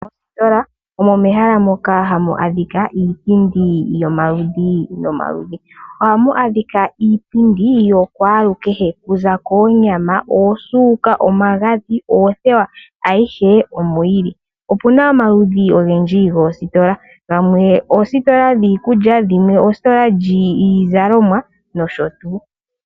Mositola omo mehala moka hamu adhika iipindi yomaludhi nomaludhi. Ohamu adhika iipindi yokwalukehe okuza koonyama, oosuuka, omagadhi, oothewa, ayihe omo yili. Opuna omaludhi ogendji goositola gamwe oositola dhiikulya, dhimwe oositola dhiizalomwa nosho tuu.